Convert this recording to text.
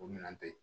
O minɛn te yen